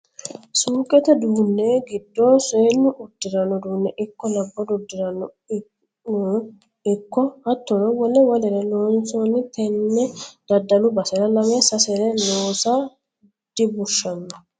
Suuqete duune giddo seennu uddirano uduune ikko labbalu uddirano ikko hattono wole wolere loonsanni tene daddalu basera lame sasere loossa dibushano.